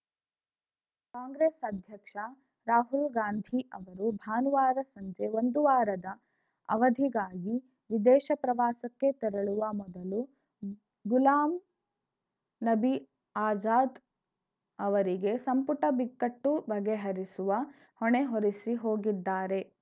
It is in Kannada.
ಕಾಂಗ್ರೆಸ್‌ ಅಧ್ಯಕ್ಷ ರಾಹುಲ್‌ ಗಾಂಧಿ ಅವರು ಭಾನುವಾರ ಸಂಜೆ ಒಂದು ವಾರದ ಅವಧಿಗಾಗಿ ವಿದೇಶ ಪ್ರವಾಸಕ್ಕೆ ತೆರಳುವ ಮೊದಲು ಗುಲಾಂ ನಬಿ ಆಜಾದ್‌ ಅವರಿಗೆ ಸಂಪುಟ ಬಿಕ್ಕಟ್ಟು ಬಗೆಹರಿಸುವ ಹೊಣೆ ಹೊರಿಸಿ ಹೋಗಿದ್ದಾರೆ